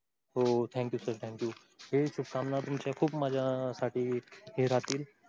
हो thank you sir thank you हे शुभकामना तुमच्या खूप माझ्यासाठी हे राहतील